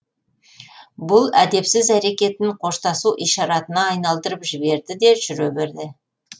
бұл әдепсіз әрекетін қоштасу ишаратына айналдырып жіберді де жүре берді